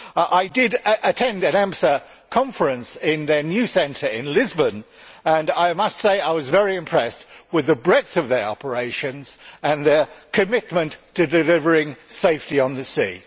I did attend an EMSA conference in their new centre in Lisbon, and I must say I was very impressed with the breadth of their operations and their commitment to delivering safety on the sea.